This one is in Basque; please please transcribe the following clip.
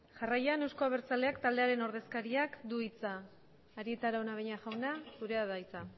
jarraian eusko abertzaleak taldearen ordezkariak du hitza arieta araunabeña jauna zurea da hitza